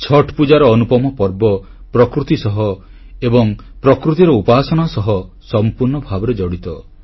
ଛଠ୍ ପୂଜାର ଅନୁପମ ପର୍ବ ପ୍ରକୃତି ସହ ଏବଂ ପ୍ରକୃତିର ଉପାସନା ସହ ସମ୍ପୂର୍ଣ୍ଣ ଭାବରେ ଜଡ଼ିତ